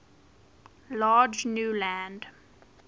large new land